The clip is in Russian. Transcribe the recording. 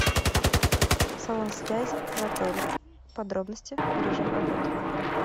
салон связи в отеле подробности и режим работы